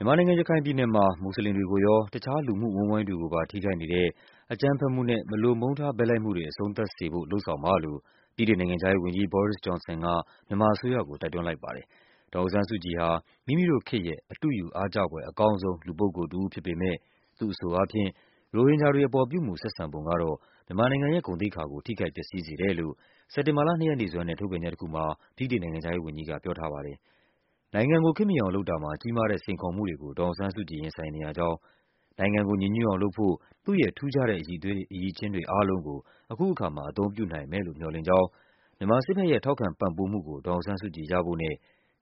မြန်မာနိုင်ငံ၊ ရခိုင်ပြည်နယ်မှာ မူဆလင်တွေကိုရော တခြားလူမှုအဝန်းအဝိုင်းတွေကိုပါ ထိခိုက်နေတဲ့ အကြမ်းဖက်မှုနဲ့ မလိုမုန်းထား ဘက်လိုက်မှုတွေ အဆုံးသတ်စေဖို့ လုပ်ဆောင်ပါလို့ ဗြိတိန်နိုင်ငံခြားရေးဝန်ကြီး Boris Johnson က မြန်မာအစိုးရကို တိုက်တွန်း လိုက်ပါတယ်။ ဒေါ်အောင်ဆန်းစုကြည်ဟာ မိမိတို့ခေတ်ရဲ့ အတုယူ အားကျဖွယ်အကောင်းဆုံး လူပုဂ္ဂိုလ် တဦးဖြစ်ပေမဲ့ သူ့အဆိုအားဖြင့် - ရိုဟင်ဂျာတွေပေါ် ပြုမူဆက်ဆံပုံကတော့ မြန်မာနိုင်ငံရဲ့ ဂုဏ်သိက္ခာကို ထိခိုက်ပျက်စီးစေတယ်လို့ စက်တင်ဘာလ ၂ ရက်နေ့စွဲနဲ့ ထုတ်ပြန်ချက် တခုမှာ ဗြိတိန်နိုင်ငံခြားရေးဝန်ကြီးက ပြောထားပါတယ်။ နိုင်ငံကို ခေတ်မီအောင်လုပ်တာမှာ ကြီးမားတဲ့ စိန်ခေါ်မှုတွေကို ဒေါ်အောင်ဆန်းစုကြည် ရင်ဆိုင်နေရကြောင်း၊ နိုင်ငံကို ညီညွတ်အောင်လုပ်ဖို့ သူ့ရဲ့ ထူးခြားတဲ့ အရည်အချင်းတွေ အားလုံးကို အခုအခါမှာ အသုံးပြုနိုင်မယ်လို့ မျှော်လင့်ကြောင်း၊ မြန်မာစစ်ဘက်ရဲ့ ထောက်ခံ ပံ့ပိုးမှုကို ဒေါ်အောင်ဆန်းစုကြည် ရဖို့နဲ့